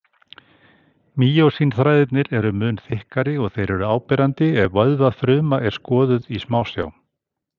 Mýósín-þræðirnir eru mun þykkari og þeir eru áberandi ef vöðvafruma er skoðuð í smásjá.